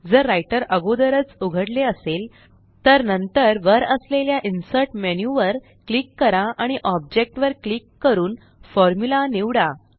जर राइटर अगोदरच उघडले असेल तर नंतर वर असलेल्या इन्सर्ट मेन्यू वर क्लिक करा आणि ऑब्जेक्ट वर क्लिक करून फॉर्म्युला निवडा